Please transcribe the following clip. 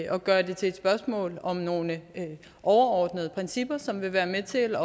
og gøre det til et spørgsmål om nogle overordnede principper som vil være med til